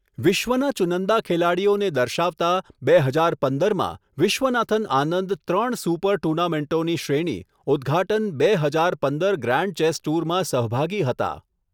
વિશ્વના ચુનંદા ખેલાડીઓને દર્શાવતા, બે હજાર પંદરમાં, વિશ્વનાથન આનંદ ત્રણ સુપર ટૂર્નામેન્ટોની શ્રેણી, ઉદ્ઘાટન બે હજાર પંદર ગ્રાન્ડ ચેસ ટૂરમાં સહભાગી હતા.